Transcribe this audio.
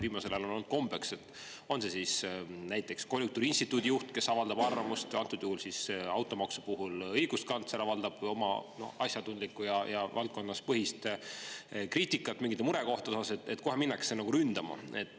Viimasel ajal on olnud kombeks – on see siis näiteks konjunktuuriinstituudi juht, kes avaldab arvamust, või antud juhul automaksu puhul õiguskantsler teeb asjatundlikku ja valdkonnapõhist kriitikat mingite murekohtade pärast –, et kohe minnakse nagu ründama.